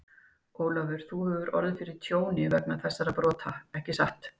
Ólafur, þú hefur orðið fyrir tjóni vegna þessara brota, ekki satt?